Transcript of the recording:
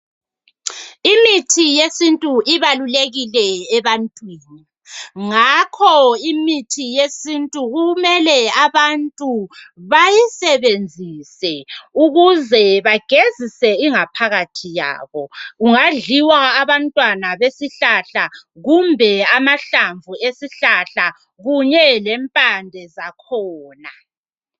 imithi yesintu ibalulekile ebantwini ngakho imithi yesintu kumele abantu bayisebenzise ukuze bagezise ingaphakathi yabo kungadliwa bantwana besihlahla kumbe amahlamvu esihlahla kunye lempande zakhona